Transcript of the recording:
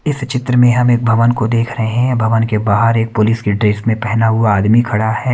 इस चित्र में हम एक भवन को देख रहे हैं भवन के बाहर एक पुलिस के ड्रेस में पहना हुआ आदमी खड़ा है।